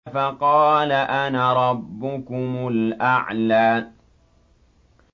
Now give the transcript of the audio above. فَقَالَ أَنَا رَبُّكُمُ الْأَعْلَىٰ